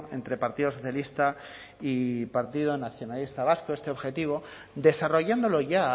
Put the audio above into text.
entre partido socialista y partido nacionalista vasco este objetivo desarrollándolo ya